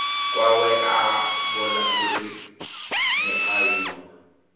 kwawe a vhona uri mualuwa